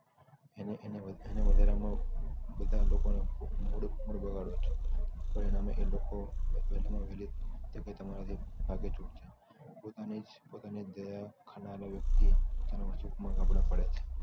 એને~એને વધારે બધા લોકોને મૂળ બગાડો છો પરિણામે એ લોકો જોકે તમારી સાભિત રૂપ છે પોતાનેજ પોતાની દયા ખાનાર વ્યક્તિ પડે છે